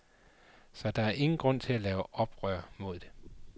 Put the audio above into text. Så der var ingen grund til at lave oprør mod det.